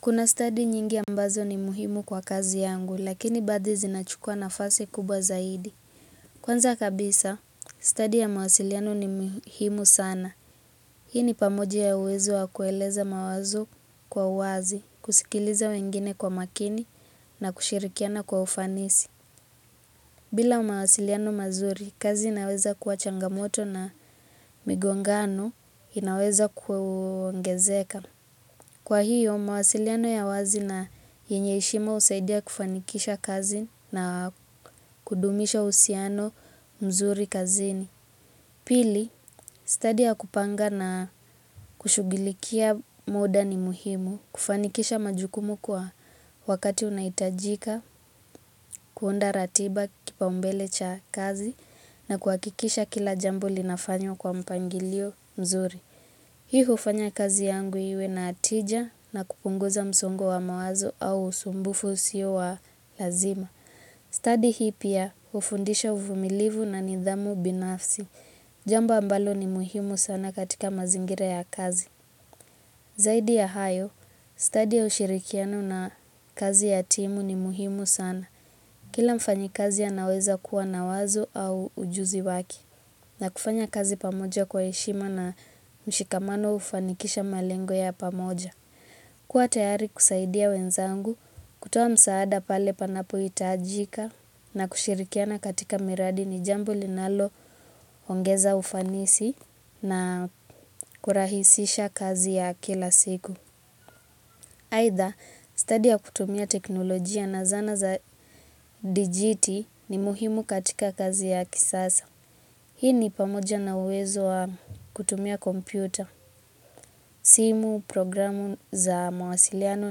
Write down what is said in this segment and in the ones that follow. Kuna stadi nyingi ambazo ni muhimu kwa kazi yangu, lakini baadhi zinachukua nafasi kubwa zaidi. Kwanza kabisa, stadi ya mawasiliano ni muhimu sana. Hii ni pamoja ya uwezo wa kueleza mawazo kwa uwazi, kusikiliza wengine kwa makini na kushirikiana kwa ufanisi. Bila mawasiliano mazuri, kazi inaweza kuwa changamoto na migongano inaweza kuongezeka. Kwa hiyo, mawasiliano ya wazi na yenye heshima husaidia kufanikisha kazi na kudumisha uhusiano mzuri kazini. Pili, stadi ya kupanga na kushughulikia muda ni muhimu, kufanikisha majukumu kwa wakati unahitajika, kuunda ratiba kipaumbele cha kazi na kuhakikisha kila jambo linafanywa kwa mpangilio mzuri. Hii hufanya kazi yangu iwe na tija na kupunguza msongo wa mawazo au usumbufu usio wa lazima. Stadi hii pia hufundisha uvumilivu na nidhamu binafsi. Jambo ambalo ni muhimu sana katika mazingira ya kazi. Zaidi ya hayo, stadi ya ushirikiano na kazi ya timu ni muhimu sana. Kila mfanyikazi anaweza kuwa na wazo au ujuzi wake. Na kufanya kazi pamoja kwa heshima na mshikamano hufanikisha malengo ya pamoja. Kuwa tayari kusaidia wenzangu, kutoa msaada pale panapohitajika na kushirikiana katika miradi ni jambo linaloongeza ufanisi na kurahisisha kazi ya kila siku. Aidha, stadi ya kutumia teknolojia na zana za dijiti ni muhimu katika kazi ya kisasa. Hii ni pamoja na uwezo wa kutumia kompyuta, simu, programu za mawasiliano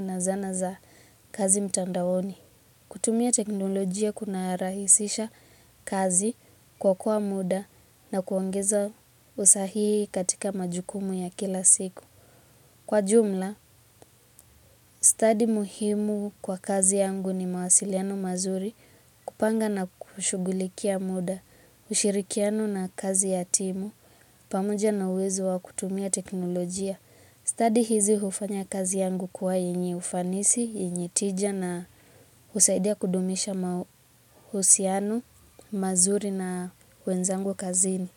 na zana za kazi mtandaoni. Kutumia teknolojia kunarahisisha kazi kuokoa muda na kuongeza usahihi katika majukumu ya kila siku. Kwa jumla, stadi muhimu kwa kazi yangu ni mawasiliano mazuri kupanga na kushughulikia muda, ushirikiano na kazi ya timu. Pamoja na uwezo wa kutumia teknolojia. Stadi hizi hufanya kazi yangu kuwa yenye ufanisi, yenye tija na husaidia kudumisha mahusiano mazuri na wenzangu kazini.